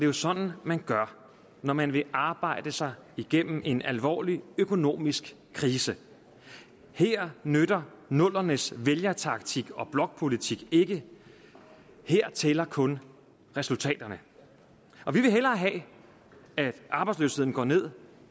jo sådan man gør når man vil arbejde sig igennem en alvorlig økonomisk krise her nytter nullerne s vælgertaktik og blokpolitik ikke her tæller kun resultaterne og vi vil hellere have at arbejdsløsheden går ned